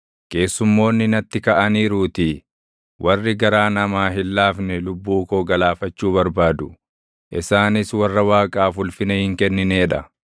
Keessumoonni natti kaʼaniiruutii; warri garaa namaa hin laafne lubbuu koo galaafachuu barbaadu; Isaanis warra Waaqaaf ulfina hin kenninee dha.